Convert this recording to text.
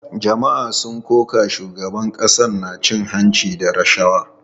Jama’a sun koka da cewa shugaban ƙasar na cin hanci da rashawa.